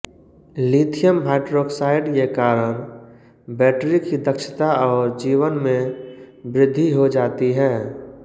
lithium hydroxide के कारण battery की दक्षता और जीवन में वृद्धि हो जाती है